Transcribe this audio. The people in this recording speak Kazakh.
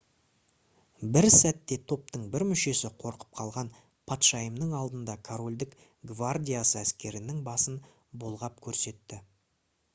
бір сәтте топтың бір мүшесі қорқып қалған патшайымның алдында корольдік гвардиясы әскерінің басын бұлғап көрсетті